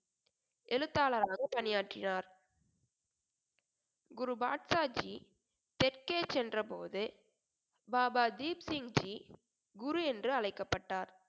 எழுத்தாளராகவும் பணியாற்றினார் குரு பாட்சாஜி தெற்கே சென்ற போது பாபா தீப்சிங் ஜி குரு என்று அழைக்கப்பட்டார்